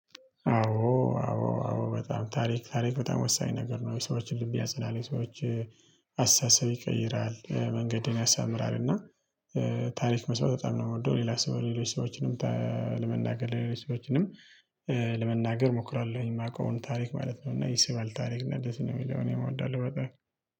አዎ አዎ አዎ በጣም ታሪክ ታሪክ በጣም ወሳኝ ነገር ነው የሰዎችን ልብ ያጽናል የሰዎች አሳተሳሰብ ይቀይራል መንገድን ያሳምራል። እና ታሪክ መስማት በጣም ነው የምወደው። ሌላ ሰው በሌሎች ሰዎችም። ለሪል ሰዎችንም ለመናገር እሞክራለሁኝ የማውቀውን ታሪክ ማለት ነው። እና ይሰባል ታሪክ እንደዚህ ነው የሚለውን እወዳለው። በቃ